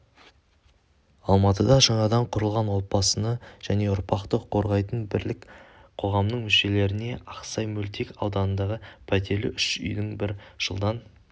алматыда жаңадан құрылған отбасыны және ұрпақты қорғайтын бірлік қоғамының мүшелеріне ақсай мөлтек ауданындағы пәтерлі үш үйдің бір жылдан